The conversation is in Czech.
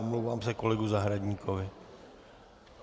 Omlouvám se kolegovi Zahradníkovi.